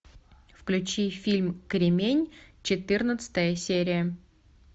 включи фильм кремень четырнадцатая серия